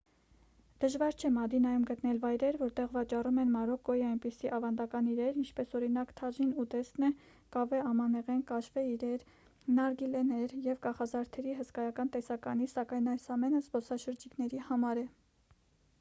դժվար չէ մադինայում գտնել վայրեր որտեղ վաճառում են մարոկկոյի այնպիսի ավանդական իրեր ինչպես օրինակ թաժին ուտեստն է կավե ամանեղեն կաշվե իրեր նարգիլեներ և կախազարդերի հսկայական տեսականի սակայն այս ամենը զբոսաշրջիկների համար է